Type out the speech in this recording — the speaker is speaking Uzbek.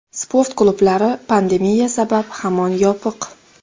Sport klublari pandemiya sabab hamon yopiq.